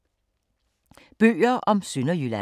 Bøger om Sønderjylland